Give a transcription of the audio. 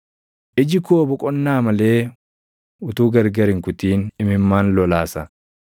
Iji koo boqonnaa malee utuu gargar hin kutin imimmaan lolaasa;